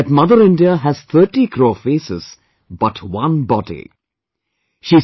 And he said that Mother India has 30 crore faces, but one body